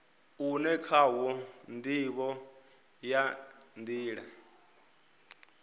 une khawo ndivho ya nila